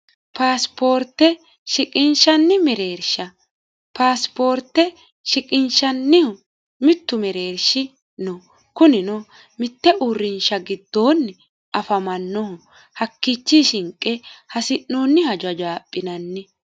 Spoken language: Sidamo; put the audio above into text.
paasipoorte shiqinshanni mereersha paasipoorte shiqinshannihu mittu mereershi no kunino mitte uurrinsha giddoonni afamannohu hakkichi shinqe hasi'noonniha jajaaphinanni